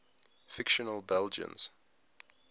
fictional belgians